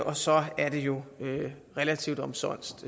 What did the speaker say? og så er det jo relativt omsonst